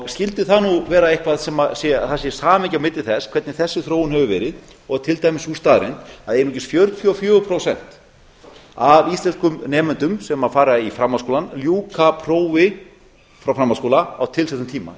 skyldi það nú vera eitthvað sem að það sé samhengi á milli þess hvernig þessi þróun hefur verið og til dæmis sú staðreynd að einungis fjörutíu og fjögur prósent af íslenskum nemendum sem fara í framhaldsskólann ljúka prófi frá framhaldsskóla á tilsettum tíma